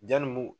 Janni u